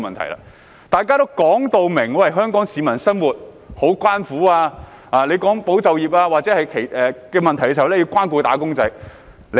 當時，大家也說香港市民的生活真的相當艱苦，討論到保就業問題時，我們也說要關顧"打工仔"。